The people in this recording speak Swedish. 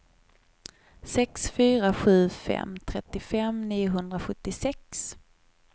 sex fyra sju fem trettiofem niohundrasjuttiosex